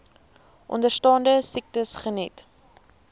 onderstaande siektes geniet